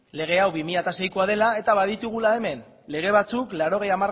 lege hau bi mila seikoa dela eta baditugula hemen lege batzuk laurogei